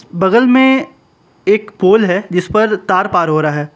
बगल में एक पोला है जिस पर तार पर हो रहा है।